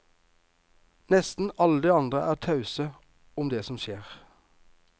Nesten alle de andre er tause om det som skjer.